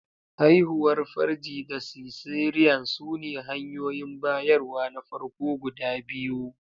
Haihuwar farji da cesarean sune hanyoyin bayarwa na farko guda biyu.